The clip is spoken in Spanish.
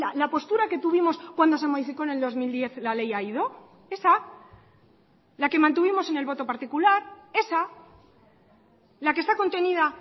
la postura que tuvimos cuando se modificó en el dos mil diez la ley aído esa la que mantuvimos en el voto particular esa la que está contenida